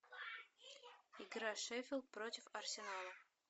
игра шеффилд против арсенала